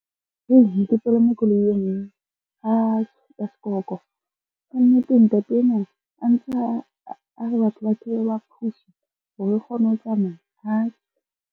Hei ne ke palame koloi e ngwe hai ya sekorokoro. Ka nnete ntate enwa a ntse a re batho ba theowe ba push-e hore re kgone ho tsamaya hai.